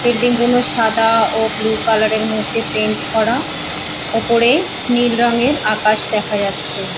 Building গুলো সাদা ও ব্লু কালার -এর মধ্যে পেইন্ট করা উপরে নীল রং এর আকাশ দেখা যাচ্ছে।